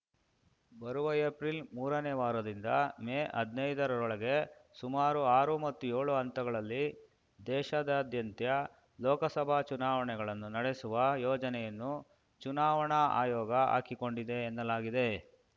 ಬರುವ ಏಪ್ರಿಲ್ ಮೂರನೇ ವಾರದಿಂದ ಮೇ ಹದ್ನೈದ ರೊಳಗೆ ಸುಮಾರು ಆರು ಅಥವಾ ಏಳು ಹಂತಗಳಲ್ಲಿ ದೇಶಾದಾದ್ಯಂತ್ಯ ಲೋಕಸಭಾ ಚುನಾವಣೆಗಳನ್ನು ನಡೆಸುವ ಯೋಜನೆಯನ್ನು ಚುನಾವಣಾ ಆಯೋಗ ಹಾಕಿಕೊಂಡಿದೆ ಎನ್ನಲಾಗಿದೆ